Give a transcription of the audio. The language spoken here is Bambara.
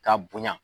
Ka bonya